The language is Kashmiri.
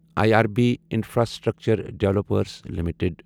I R B infrastructure developers limited